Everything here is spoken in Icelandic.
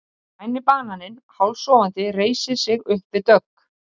Græni bananinn hálfsofandi reisir sig upp við dogg.